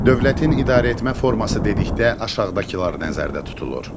Dövlətin idarəetmə forması dedikdə aşağıdakılar nəzərdə tutulur.